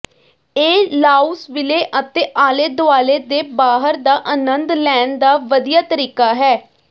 ਇਹ ਲਾਊਸਵਿਲੇ ਅਤੇ ਆਲੇ ਦੁਆਲੇ ਦੇ ਬਾਹਰ ਦਾ ਅਨੰਦ ਲੈਣ ਦਾ ਵਧੀਆ ਤਰੀਕਾ ਹੈ